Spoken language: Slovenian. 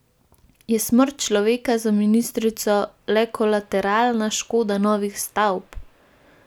Je smrt človeka za ministrico le kolateralna škoda novih stavb?